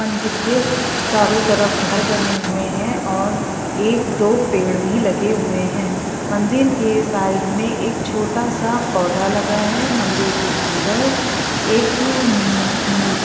मंदिर के चारों तरफ घर बने हुए है और एक दो पेड़ भी लगे हुए है मंदिर के साइड मे एक छोटा सा पौधा लगा है मंदिर के अंदर एक मु मूर्ति--